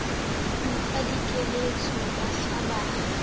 mo fa dikeletso bahla ba